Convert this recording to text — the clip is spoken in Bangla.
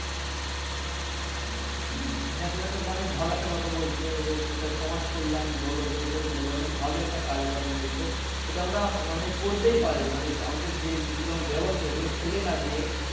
হ্যা তুমি একটা অনেক ভালো একটা কথা বলছো এবং এটা সমাজ কল্যাণ বলো জন কল্যাণ বোলো অনেক ভালো একটা কাজের কথা বলছো এটা আমরা মানে করতেই পারি মানে আমরা যে জিনিস গুলো ব্যবহার করি সেগুলা ফেলে না দিয়ে